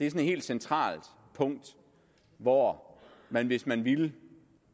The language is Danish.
et helt centralt punkt hvor man hvis man ville